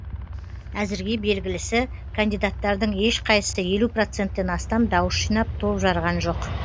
әзірге белгілісі кандидаттардың ешқайсысы елу проценттен астам дауыс жинап топ жарған жоқ